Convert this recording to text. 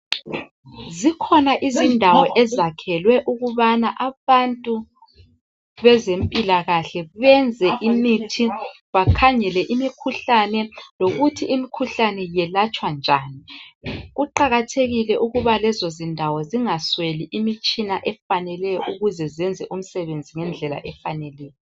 Zikhona izindawo ezakhelwe abantu ukubana abantu bezempilakahle benze imithi bakhangele imikhuhlane lokuthi imkhuhlane yelatshwa njani kuqakathekile ukuba lezo zindawo zingasweli imitshina efaneleyo ukuze zenze imisebenzi ngendlela efaneleyo.